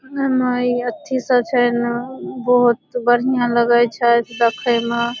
अरे माई अच्छी से अच्छा एने बहुत बढ़िया लगै छे देखे मा।